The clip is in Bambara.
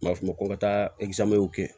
U b'a f'o ma ko ka taa kɛ